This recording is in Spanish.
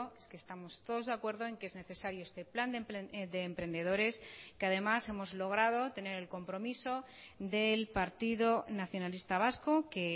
es que estamos todos de acuerdo en que es necesario este plan de emprendedores que además hemos logrado tener el compromiso del partido nacionalista vasco que